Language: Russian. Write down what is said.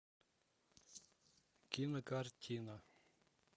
кинокартина